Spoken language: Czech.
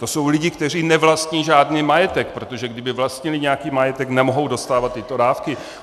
To jsou lidé, kteří nevlastní žádný majetek, protože kdyby vlastnili nějaký majetek, nemohou dostávat tyto dávky.